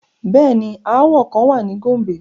Bẹẹni, aawọ kan wa ni Gombe